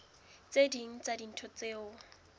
tse ding tsa dintho tseo